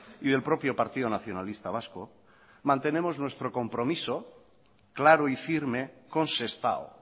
y del propio partido nacionalista vasco mantenemos nuestro compromiso claro y firme con sestao